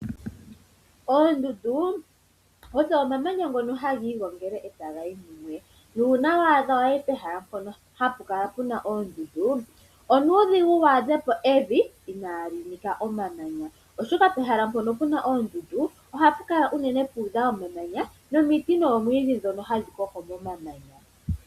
Oondundu odho omamanya ngoka hagiigongele ndele tagayi kumwe, nuuna waadha wayi pehala mpono hapu kala puna oondundu onuudhigu wu adhepo evi inali nika omamanya, oshoka pehala mpono puna oondundu ohapu kala uunene puudha omamanya nomiti noomwiidhi dhono hadhi koko momamanya.